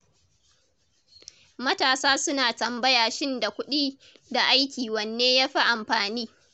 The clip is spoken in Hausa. Matasa suna tambaya shin da kuɗi da aiki wanne ya fi amfani?